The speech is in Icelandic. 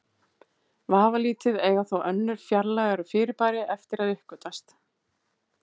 Vafalítið eiga þó önnur fjarlægari fyrirbæri eftir að uppgötvast.